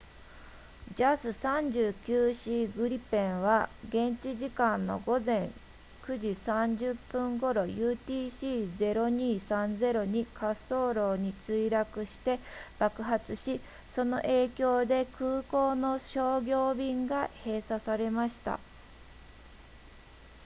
jas 39c グリペンは現地時間の午前9時30分頃 utc 0230に滑走路に墜落して爆発しその影響で空港の商業便が閉鎖されました